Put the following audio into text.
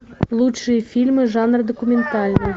лучшие фильмы жанра документальный